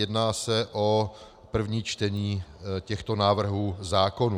Jedná se o první čtení těchto návrhů zákonů.